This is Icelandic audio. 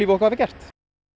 okkur hafa gert